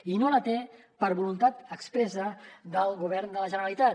i no els té per voluntat expressa del govern de la generalitat